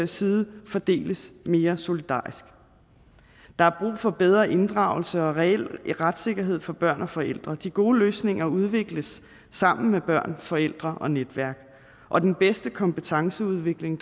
side fordeles mere solidarisk der er brug for bedre inddragelse og reel retssikkerhed for børn og forældre de gode løsninger udvikles sammen med børn forældre og netværk og den bedste kompetenceudvikling